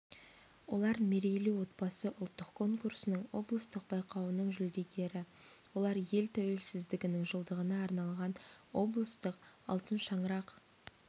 олар мерейлі отбасы ұлттық конкурсының облыстық байқауының жүлдегері олар ел тәуелсіздігінің жылдығына арналған облыстық алтын шаңырақ